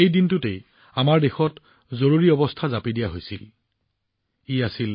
সেইদিনা আমাৰ দেশত জৰুৰীকালীন অৱস্থা জাপি দিয়া হৈছিল